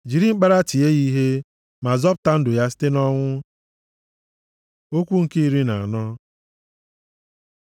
Jiri mkpara tie ya ihe ma zọpụta ndụ ya site nʼọnwụ. Okwu nke iri na anọ